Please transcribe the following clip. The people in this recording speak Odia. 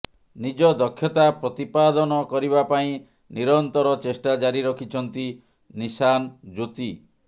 ନିଜ ଦକ୍ଷତା ପ୍ରତିପାଦନ କରିବା ପାଇଁ ନିରନ୍ତର ଚେଷ୍ଟା ଜାରି ରଖିଛନ୍ତି ନିଶାନ ଜ୍ୟୋତି